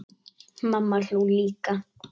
Mamma hló líka.